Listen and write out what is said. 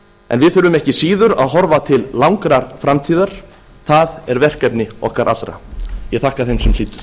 en við þurfum ekki síður að horfa til langrar framtíðar það er verkefni okkar allra ég þakka þeim sem hlýddu